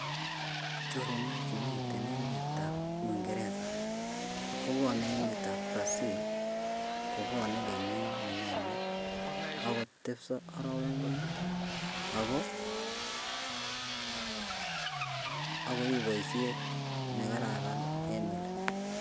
Choronokchu chemiten emetab Uingereza kobwane emetab Brazil kobwane kenyit nenyone agotepsot arawek muut, ako ngori boisiet negararan eng oli